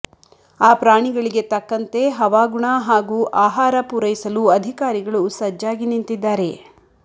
ಆ ಪ್ರಾಣಿಗಳಿಗೆ ತಕ್ಕಂತೆ ಹವಾಗುಣ ಹಾಗೂ ಆಹಾರ ಪೂರೈಸಲು ಅಧಿಕಾರಿಗಳು ಸಜ್ಜಾಗಿ ನಿಂತಿದ್ದಾರೆ